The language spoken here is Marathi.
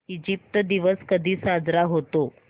इजिप्त दिवस कधी साजरा होतो